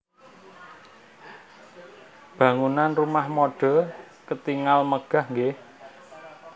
Bangunan Rumah Mode ketingal megah nggih